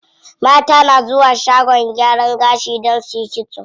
Mata na zuwa shagon gyaran gashi don suyi kitso.